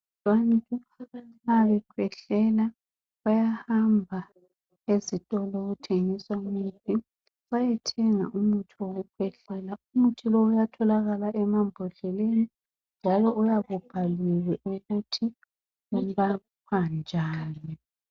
Abantu nxa bekhwehlela bayahamba ezitolo okuthengiswa imithi bayethenga umuthi wokukhwehlela umuthi lo uyatholakala emambodleleni njalo uyabubhaliwe ukuthi ulapha njani.